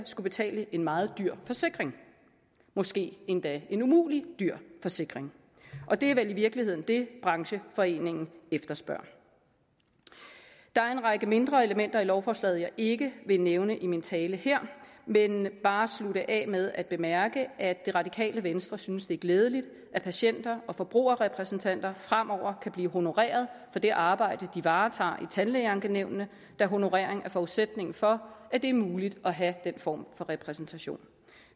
skulle betale en meget dyr forsikring måske endda en umulig dyr forsikring og det er vel i virkeligheden det brancheforeningen efterspørger der er en række mindre elementer i lovforslaget jeg ikke vil nævne i min tale her men bare slutte af med at bemærke at det radikale venstre synes det er glædeligt at patienter og forbrugerrepræsentanter fremover kan blive honoreret for det arbejde de varetager i tandlægeankenævnene da honorering er forudsætning for at det er muligt at have den form for repræsentation